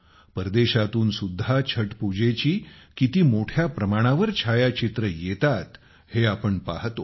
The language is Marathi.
परदेशात सुद्धा छठपूजेची किती भव्य चित्रे येतात हे आपण पाहतो